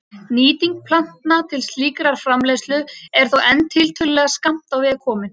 Nýting plantna til slíkrar framleiðslu er þó enn tiltölulega skammt á veg komin.